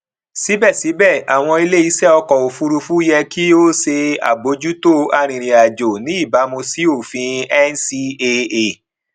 síbẹsíbẹ àwọn iléiṣẹ ọkọ òfurufú yẹ kí ó ṣe àbójútó arìnrìnàjò ní ìbámu sí òfin ncaa